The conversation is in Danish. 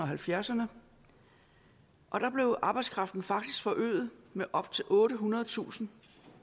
halvfjerdserne og der blev arbejdskraften faktisk forøget med op til ottehundredetusind